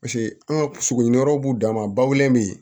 Paseke an ka sogo ni yɔrɔ b'u dan ma bawele bɛ yen